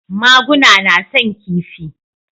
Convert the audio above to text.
Maguna na son kifi